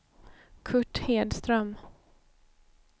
Kurt Hedström